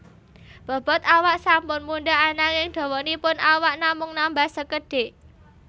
Bobot awak sampun mundhak ananging dawanipun awak namung nambah sekedhik